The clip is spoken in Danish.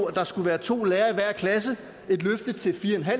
at der skulle være to lærere i hver klasse et løfte til fire